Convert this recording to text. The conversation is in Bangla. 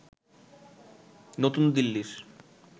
নতুন দিল্লির